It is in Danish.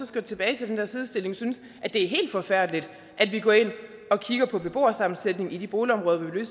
skal tilbage til den der sidestilling synes at det er helt forfærdeligt at vi går ind og kigger på beboersammensætningen i de boligområder hvor vi vil